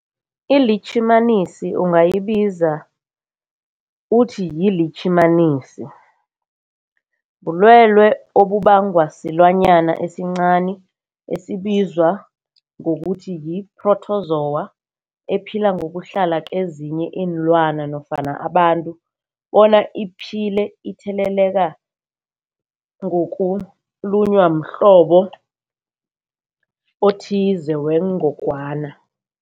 ILitjhimanisi ungayibiza uthiyilitjhimanisi, bulwelwe obubangwa silwanyana esincani esibizwa ngokuthiyi-phrotozowa ephila ngokuhlala kezinye iinlwana nofana abantu bona iphile itheleleka ngokulunywa mhlobo othize wengogwana.